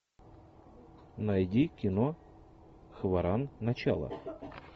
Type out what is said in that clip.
найди кино хваран начало